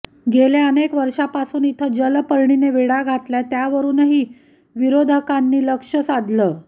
गेल्या अनेक वर्षांपासून इथं जलपर्णीने वेढा घातलाय त्यावरुनही विरोधकांनी लक्ष्य साधलं